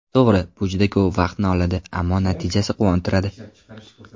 To‘g‘ri, bu juda ko‘p vaqtni oladi, ammo natijasi quvontiradi.